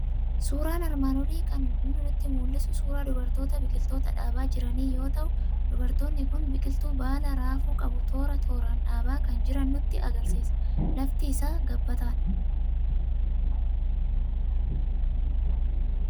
Suuraan armaan olii kan inni nutti mul'isu suuraa dubartoota biqiltoota dhaabaa jiranii yoo ta'u, dubartoonni kun biqiltuu baala raafuu qabu toora tooraan dhaabaa kan jiran nutti argisiisa. Lafti isaa gabbataadha.